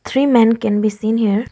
Three men can be seen here.